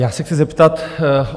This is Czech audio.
Já se chci zeptat.